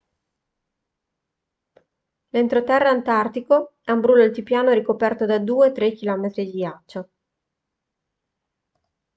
l'entroterra antartico è un brullo altipiano ricoperto da 2-3 km di ghiaccio